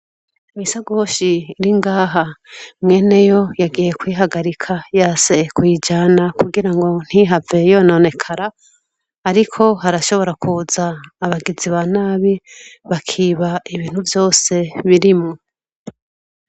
Misaguhshi iri ngaha mwene yo yagiye kwihagarika yase kwijana kugira ngo ntihavee yononekara, ariko harashobora kuza abagizi ba nabi bakiba ibintu vyose birimo.